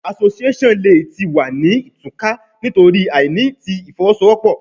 Association le ti wa ni tuka nitori aini ti ifowosowopo